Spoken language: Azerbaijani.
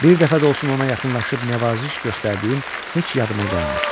Bir dəfə də olsun ona yaxınlaşıb nəvaziş göstərdiyim heç yadıma gəlmir.